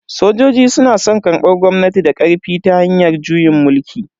Sojoji suna karbar gwamnati da karfi ta hanyar juyin mulki.